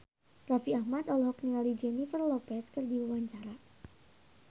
Raffi Ahmad olohok ningali Jennifer Lopez keur diwawancara